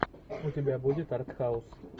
у тебя будет артхаус